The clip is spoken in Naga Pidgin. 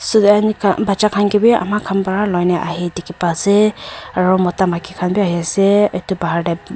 batcha khan ki bhi ama khan para loine ahe dekhi paise aru Mota maiki khan bhi ahe ase etu pahar te--